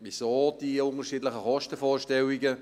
Weshalb die unterschiedlichen Kostenvorstellungen?